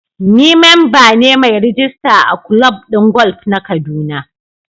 Ni memba ne mai rijista a kulob din golf na kaduna